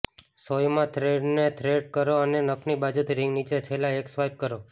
સોયમાં થ્રેડને થ્રેડ કરો અને નખની બાજુથી રિંગથી નીચે છેલ્લા એક સ્વાઇપ કરો